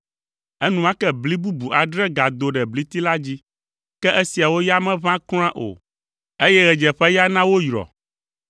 Enumake bli bubu adre gado ɖe bliti la dzi, ke esiawo ya meʋã kura o, eye ɣedzeƒeya na woyrɔ.